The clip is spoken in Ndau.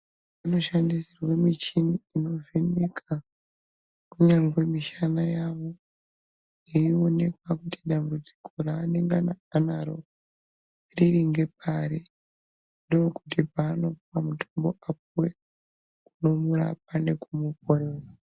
Unoshandisirwe michini inovheneka kinyangwe mishana yavo yeinoekwa kuti dambudziko raanengana anaro riri ngepari, ndokuti paanopuwa mutombo apuwe unorapa nekumuporesa.